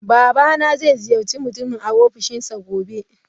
Babana zai ziyarci mutumin a Ofishinsa gobe.